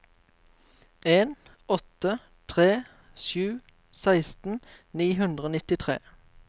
en åtte tre sju seksten ni hundre og nittitre